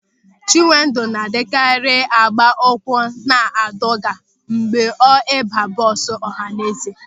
Chinwendụ na-adịkarị agba ụkwụ na adọga mgbe ọ ịba bọọsụ ọhaneze.